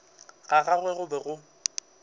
ga gagwe go be go